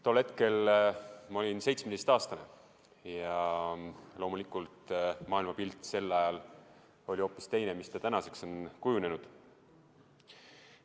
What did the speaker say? Tol hetkel olin 17-aastane ja loomulikult maailmapilt sel ajal oli hoopis teine kui see, mis tänaseks on kujunenud.